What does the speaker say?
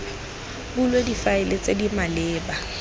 bulwe difaele tse di maleba